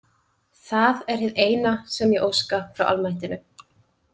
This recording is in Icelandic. Það er hið eina sem ég óska frá almættinu.